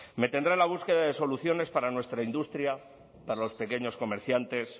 me tendrá la búsqueda de soluciones para nuestra industria para los pequeños comerciantes